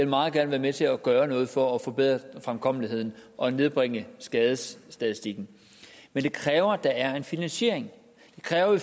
meget gerne være med til at gøre noget for at forbedre fremkommeligheden og nedbringe skadesstatistikken men det kræver at der er en finansiering det kræver at